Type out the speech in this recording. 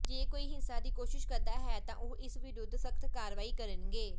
ਜੇ ਕੋਈ ਹਿੰਸਾ ਦੀ ਕੋਸ਼ਿਸ਼ ਕਰਦਾ ਹੈ ਤਾਂ ਉਹ ਇਸ ਵਿਰੁੱਧ ਸਖਤ ਕਾਰਵਾਈ ਕਰਨਗੇ